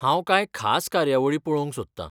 हांव कांय खास कार्यावळी पळोवंक सोदतां.